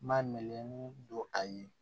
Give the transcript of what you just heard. Ma melege don a ye